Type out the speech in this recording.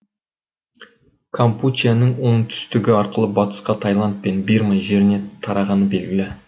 кампучияның оңтүстігі арқылы батысқа таиланд пен бирма жеріне тарағаны белгілі